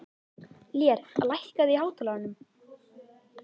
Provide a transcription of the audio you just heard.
Lér, lækkaðu í hátalaranum.